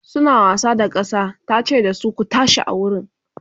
suna wasa da kasa tace da su "ku tashi a wurin!"